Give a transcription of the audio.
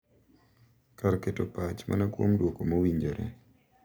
Kar keto pach mana kuom duoko mowinjore, .